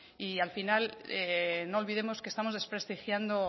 y al final no olvidemos que estamos desprestigiando